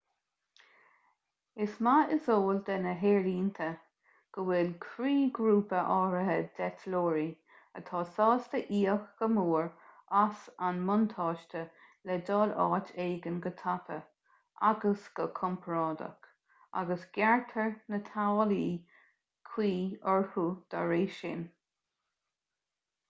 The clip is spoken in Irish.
is maith is eol do na haerlínte go bhfuil croíghrúpa áirithe d'eitleoirí atá sásta íoc go mór as an mbuntáiste le dul áit éigin go tapa agus go compordach agus gearrtar na táillí cuí orthu dá réir sin